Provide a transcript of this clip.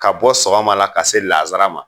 Ka bɔ sɔgɔma la ka se lanzara ma